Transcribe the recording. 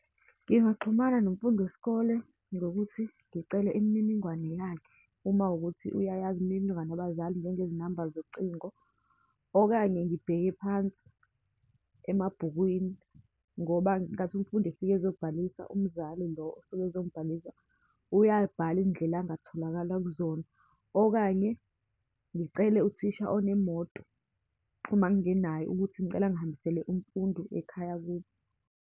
Ngingaxhumana nomfundi wesikole, ngokuthi ngicele imininingwane yakhe uma kuwukuthi uyayazi imininingwane yabazali, njengezinamba zocingo. Okanye ngibheke phansi emabhukwini, ngoba ngenkathi umfundi efike ezobhalisa, umzali lo osuke ezombhalisa uyayibhala indlela angatholakala kuzona. Okanye ngicele uthisha onemoto, uma ngenayo, ukuthi ngicela angihambisele umfundi ekhaya kubo.